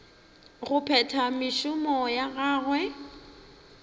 go phetha mešomo ya gagwe